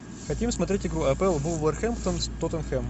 хотим смотреть игру апл вулверхэмптон с тоттенхэм